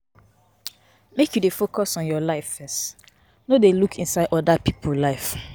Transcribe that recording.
Make you focus on your life first, no dey look inside oda pipo life.